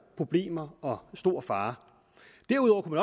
problemer og stor fare derudover kunne